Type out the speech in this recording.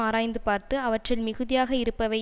ஆராய்ந்து பார்த்து அவற்றில் மிகுதியாக இருப்பவை